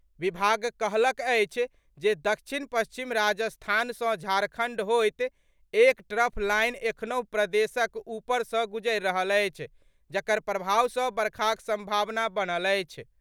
विभाग कहलक अछि जे दक्षिण पच्छिम राजस्थानसँ झारखण्ड होइत एक ट्रफ लाइन एखनहुँ प्रदेशक ऊपर सँ गुजरि रहल अछि, जकर प्रभाव सँ बरखाक सम्भावना बनल अछि।